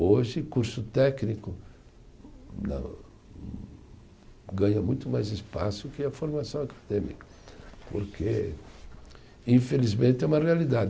Hoje, curso técnico ganha muito mais espaço que a formação acadêmica, porque, infelizmente, é uma realidade.